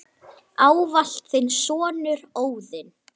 Ávallt þinn sonur, Óðinn.